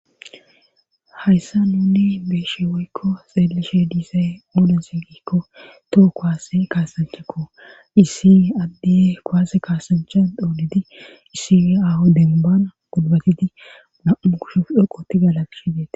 hayssa nuni beeshe woykko xeelishe diisay oodense gikko toho kowaase kaasanchakko issi addihe koaase kaasanchan dhoolidi issie aho denbana gulbatiti mammu kushuf dhoqoti galagshideete